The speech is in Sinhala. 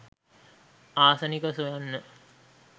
ආසනික සොයන්න